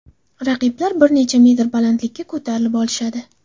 Raqiblar bir necha metr balandlikka ko‘tarilib olishadi.